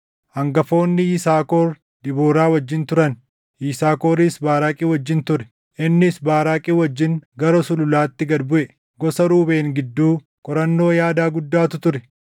Hangafoonni Yisaakor Debooraa wajjin turan; Yisaakoris Baaraaqi wajjin ture; innis Baaraaqi wajjin gara sululaatti gad buʼe. Gosa Ruubeen gidduu, qorannoo yaadaa guddaatu ture.